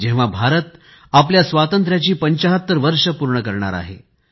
जेव्हा भारत आपल्या स्वातंत्र्याची 75 वर्षे पूर्ण करणार आहे